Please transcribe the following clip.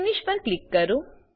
finish પર click કરો